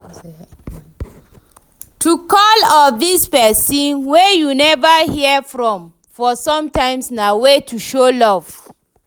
To call or visit persin wey you never hear from for sometime na way to show love